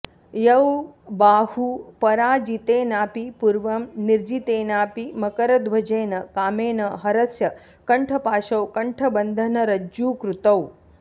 यौ बाहू पराजितेनापि पूर्वं निर्जितेनापि मकरध्वजेन कामेन हरस्य कण्ठपाशौ कण्ठबन्धनरज्जूकृतौ